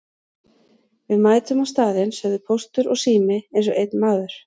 Við mætum á staðinn sögðu Póstur og Sími eins og einn maður.